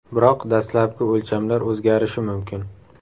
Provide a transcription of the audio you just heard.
Biroq dastlabki o‘lchamlar o‘zgarishi mumkin.